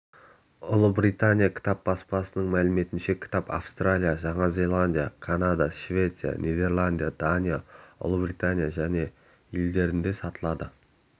ұлыбритания кітап баспасының мәліметінше кітап австралия жаңа зеландия канада швеция нидерланд дания ұлыбритания және елдерінде сатылады